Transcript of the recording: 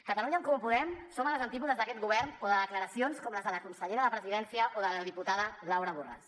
catalunya en comú podem som a les antípodes d’aquest govern o de declaracions com les de la consellera de presidència o de la diputada laura borràs